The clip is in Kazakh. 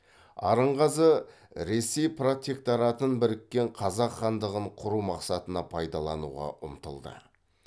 арынғазы ресей протекторатын біріккен қазақ хандығын құру мақсатына пайдалануға ұмтылды